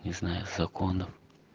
не знаю законов